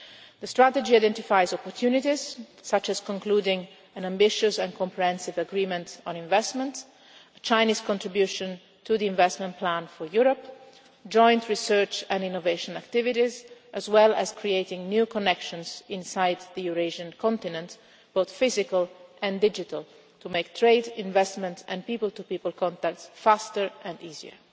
The strategy identifies opportunities such as concluding an ambitious and comprehensive agreement on investment, a Chinese contribution to the investment plan for Europe, joint research and innovation activities as well as creating new connections inside the Eurasian continent, both physical and digital, to make trade, investment and people to people contacts faster and easier.